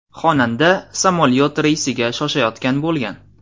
Xonanda samolyot reysiga shoshayotgan bo‘lgan.